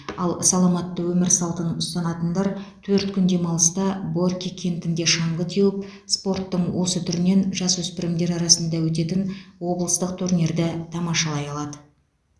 ал саламатты өмір салтын ұстанатындар төрт күн демалыста борки кентінде шаңғы теуіп спорттың осы түрінен жасөспірімдер арасында өтетін облыстық турнирді тамашалай алады